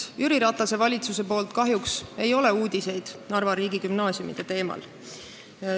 Jüri Ratase valitsusest kahjuks ei ole tulnud uudiseid Narva riigigümnaasiumide kohta.